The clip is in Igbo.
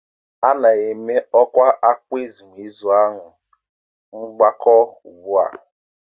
A na-ama ọkwa akwamozu ahụ n'ọgbakọ ugbu a.